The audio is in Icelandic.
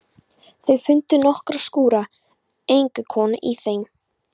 Þau fundu nokkra skúra en enga konu í þeim.